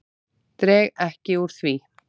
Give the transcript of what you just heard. Dreg ekki úr því.